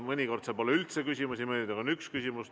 Mõnikord seal pole üldse küsimusi, mõnikord on üks küsimus.